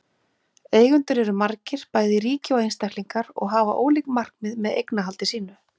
Eigendur eru margir, bæði ríki og einstaklingar, og hafa ólík markmið með eignarhaldi sínu.